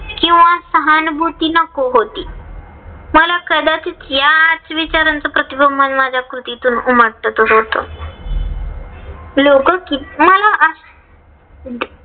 किंवा सहानभूती नको होती. मला कदाचित याच विचाराचं प्रतिबिंब माझ्या कृतीतून उमटत होत. लोक किती मला